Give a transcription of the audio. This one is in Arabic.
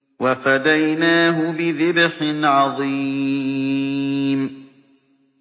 وَفَدَيْنَاهُ بِذِبْحٍ عَظِيمٍ